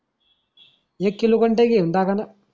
एक किलो कंटाक घेऊन टाका न